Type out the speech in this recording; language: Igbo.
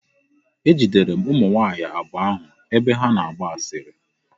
Ejidere m ụmụ nwaanyị abụọ ahụ ebe ha na-agba asịrị.